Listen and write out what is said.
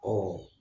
Ɔ